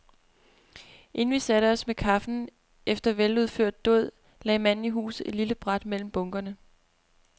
Inden vi satte os med kaffen efter veludført dåd, lagde manden i huset et lille bræt mellem bunkerne.